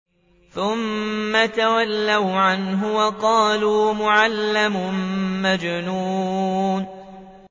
ثُمَّ تَوَلَّوْا عَنْهُ وَقَالُوا مُعَلَّمٌ مَّجْنُونٌ